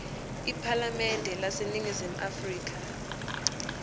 iphalamende laseningizimu afrika